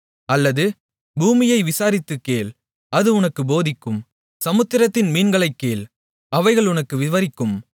அல்லது பூமியை விசாரித்துக் கேள் அது உனக்குப் போதிக்கும் சமுத்திரத்தின் மீன்களைக் கேள் அவைகள் உனக்கு விவரிக்கும்